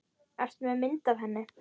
Ertu með mynd af henni?